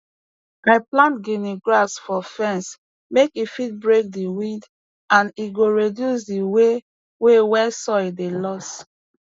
i plant gini grass for fence make e fit break di wind and e go reduce di way way wey soil dey loss